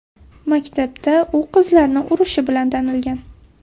Maktabda u qizlarni urishi bilan tanilgan.